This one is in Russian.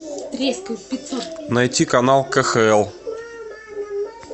найти канал кхл